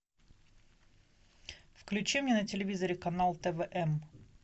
включи мне на телевизоре канал твм